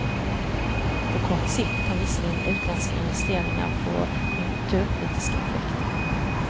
På kort sikt kan visserligen utländska investeringar få konjunkturpolitiska effekter.